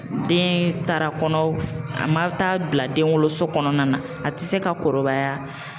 Den taara kɔnɔ, a ma taa bila den woloso kɔnɔna na, a tɛ se ka kɔrɔbaya.